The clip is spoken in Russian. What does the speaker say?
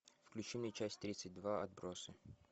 включи мне часть тридцать два отбросы